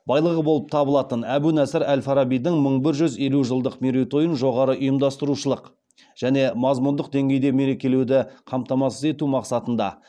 байлығы болып табылатын әбу насыр әл фарабидің мың бір жүз елу жылдық мерейтойын жоғары ұйымдастырушылық және мазмұндық деңгейде мерекелеуді қамтамасыз ету мақсатында